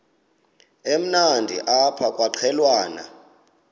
emnandi apha kwaqhelwana